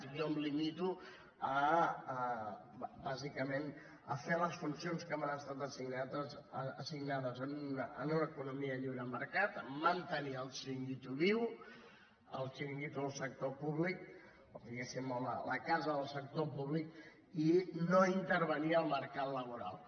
jo em limito bàsicament a fer les funcions que m’han estat assignades en una economia de lliure mercat a mantenir el xiringuito viu el xiringuito del sector públic diguéssim o la casa del sector públic i no intervenir al mercat laboral